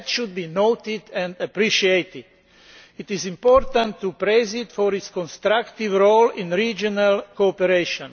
That should be noted and appreciated. It is important to praise it for its constructive role in regional cooperation.